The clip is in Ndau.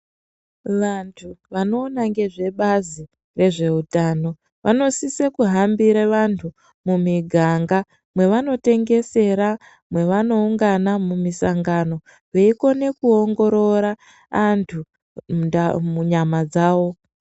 Vantu vanoona nezvebazi rezveutano vanosise kuhambire vantu mumiganga ,mwevanotengesera, mwevanoungana mumisangano veikone kuongorora antu munda munyama dzawo.